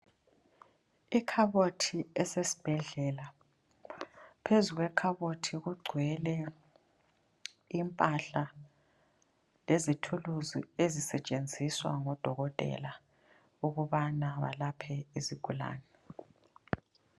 Ikhabothi esesibhedlela. Phezukwekhabothi kugcwele impahla lezithuluzi ezisetshenziswa ngodokotela ukubana balaphe izigulane.